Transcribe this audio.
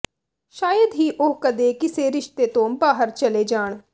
ਸ਼ਾਇਦ ਹੀ ਉਹ ਕਦੇ ਕਿਸੇ ਰਿਸ਼ਤੇ ਤੋਂ ਬਾਹਰ ਚਲੇ ਜਾਣ